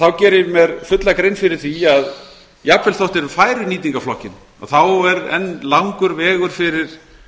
þá geri ég mér fulla grein fyrir því að jafnvel þó þeir færu í nýtingarflokkinn þá er enn langur vegur fyrir